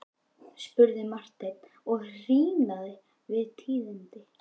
spurði Marteinn og hýrnaði við tíðindin.